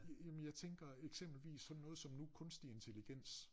Jamen jeg tænker eksempelvis sådan noget som nu kunstig intelligens